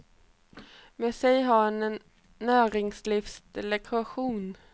Med sig har han en näringslivsdelegation.